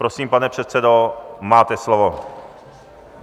Prosím, pane předsedo, máte slovo.